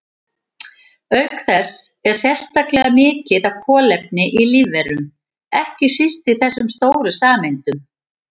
Auk þess er sérstaklega mikið af kolefni í lífverum, ekki síst í þessum stóru sameindum.